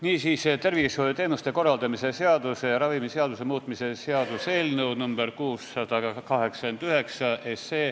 Niisiis, tervishoiuteenuste korraldamise seaduse ja ravimiseaduse muutmise seaduse eelnõu nr 689.